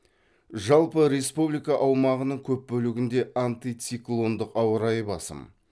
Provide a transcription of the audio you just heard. жалпы республика аумағының көп бөлігінде антициклондық ауа райы басым